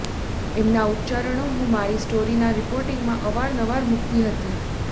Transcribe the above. એમનાં ઉચ્ચારણો હું મારી સ્ટોરીના રિપોર્ટિંગમાં અવારનવાર મૂકતી હતી